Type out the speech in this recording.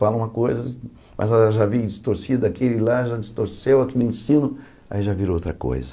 Falam uma coisa, mas ela já vem distorcida aqui e lá, já distorceu aqui no ensino, aí já virou outra coisa.